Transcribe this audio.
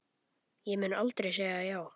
Ég mun aldrei segja já.